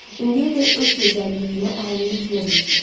İndiyədək öz gözəlliyinə əhəmiyyət vermirdi.